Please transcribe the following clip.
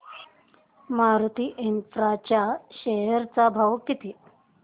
Maruti infra च्या share चा भाव किती